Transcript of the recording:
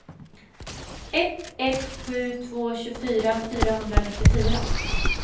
ett ett sju två tjugofyra fyrahundranittiofyra